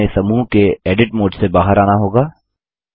अतः हमें समूह के एडिट मोड़ से बाहर आना होगा